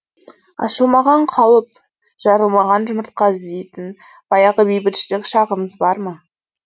ашылмаған қауіп жарылмаған жұмыртқа іздейтін баяғы бейбітшілік шағымыз бар ма